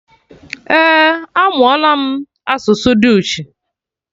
Eh, amụọla m asụsụ dutch